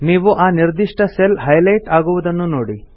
ನೀವು ಆ ನಿರ್ದಿಷ್ಟ ಸೆಲ್ ಹೈಲೈಟ್ ಆಗುವುದನ್ನು ನೋಡಿ